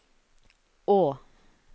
å